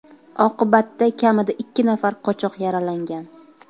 Oqibatda kamida ikki nafar qochoq yaralangan.